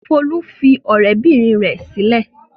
Folú fi ọ̀rẹ́bìnrin rẹ̀ sílẹ̀.